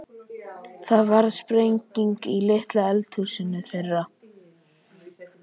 Það varð sprenging í litla eldhúsinu þeirra.